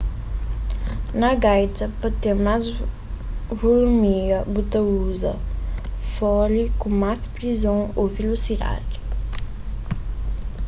na gaita pa ten más vulumia bu ta uza fole ku más prison ô vilosidadi